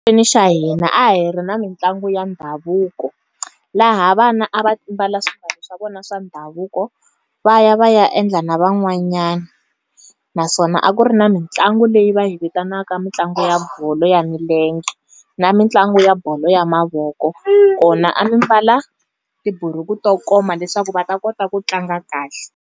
Xa hina a hi ri na mitlangu ya ndhavuko. Laha vana a va mbala swimbalo swa vona swa ndhavuko, va ya va ya endla na van'wanyani. Naswona a ku ri na mitlangu leyi va yi vitanaka mitlangu ya bolo ya milenge, na mitlangu ya bolo ya mavoko. Kona a mi mbala, tibuku to koma leswaku va ta kota ku tlanga kahle.